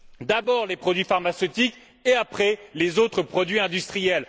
d'abord, les produits pharmaceutiques, et après, les autres produits industriels.